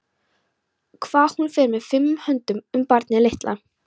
Hvað hún fer fimum höndum um barnið litla.